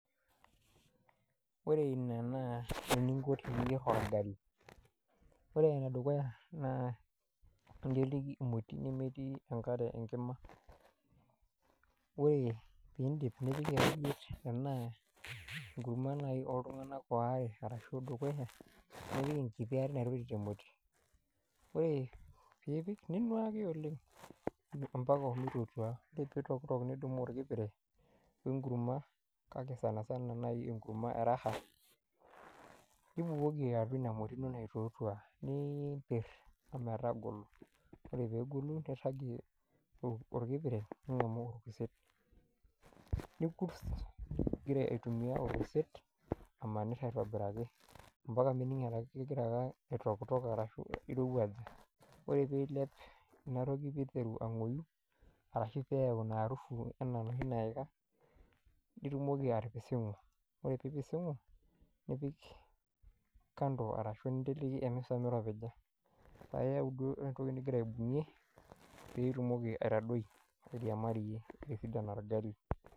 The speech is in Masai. Ore ina naa eninko teniyierr orgali ore enedukuya naa inteleki emoti nemetii enkare enkima ore pindip nipik erijit enaa enkurma naai oltung'anak waare arashu dukuya nipik enkiti are naitorit emoti ore piipik ninuaki oleng ompaka omitotua ore pitokitok nidumu orkipire wenkurma kake sanasana naai enkurma e raha nibukoki atua ina moti duo naitotua niimpirr ometagolo ore peegolu nirragie ol orkipire ning'amu orkurtet nikurt igira aitumia orkurtet amanirr aitobiraki ampaka mining etaa kegira ake aitokitok arashu irowuaja ore piilep inatoki piteru ang'oi arashu peyau ina arufu enaa enoshi naika nitumoki atipising'u ore piipising'u nipik kando arashu ninteleki emisa miropija paiyau duo entoki nigira aibung'ie pitumoki aitadoi airiamariyie etisidana orgali.